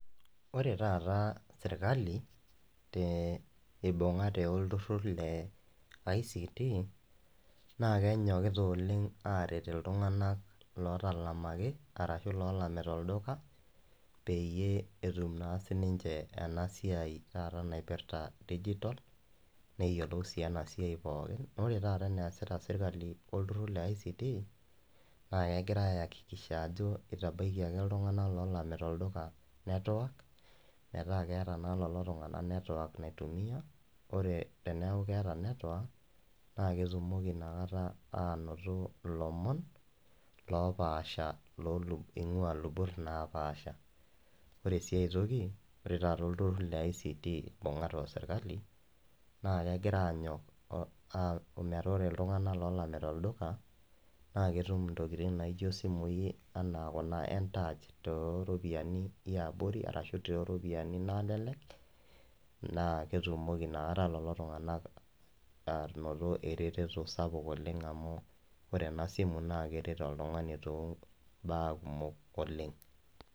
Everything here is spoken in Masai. Ore taata sirkali te eibungate olturur le ICT naa kenyokita oleng aret iltunganak lotalamaki arashu lolamita olduka peyie etum naa sininche enasiai taata naipirta digital neyiolou sii ena siai pookin . Naa ore taata eneasita sirkali wolturur leICT naa kegira akikisha ajo itabaikiaki iltunganak lolamita olduka network metaa keeta naa lelo tunganak network naitumia, ore teniaku keeta network naa ketumoki inakata anoto ilomon lopaasha lolu, ingwaa ilubot naapasha . Ore siae toki ore taata olturur leICT ibungate osirkali naa kegira anyok aaku metaa ore iltunganak lolamita olduka naa ketum intokitin naijo isimui enaa kuna entouch tooropiyiani eabori arashu tooropiyiani nalelek naa ketumoki inakata lelo tunganak anoto ereteto sapuk oleng amu ore ena simu naa keret oltungani toombaa kumok oleng.